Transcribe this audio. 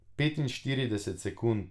Petinštirideset sekund.